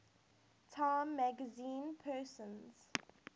time magazine persons